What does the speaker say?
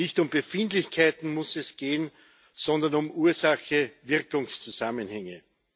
Nicht um Befindlichkeiten muss es gehen, sondern um Ursache Wirkung Zusammenhänge.